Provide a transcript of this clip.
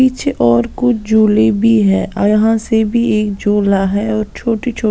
पीछे और कुछ झोले भी है यहां से भी एक झोला है और छोटी-छोटी--